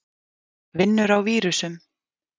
Vinnur á vírusum.